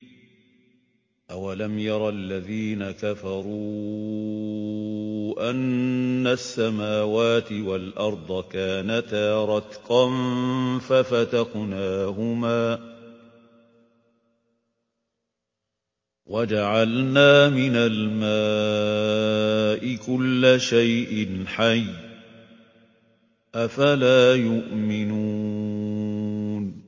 أَوَلَمْ يَرَ الَّذِينَ كَفَرُوا أَنَّ السَّمَاوَاتِ وَالْأَرْضَ كَانَتَا رَتْقًا فَفَتَقْنَاهُمَا ۖ وَجَعَلْنَا مِنَ الْمَاءِ كُلَّ شَيْءٍ حَيٍّ ۖ أَفَلَا يُؤْمِنُونَ